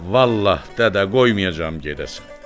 Vallah dədə qoymayacam gedəsən.